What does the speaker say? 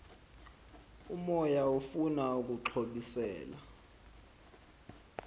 umoya ufuna ukuxhobisela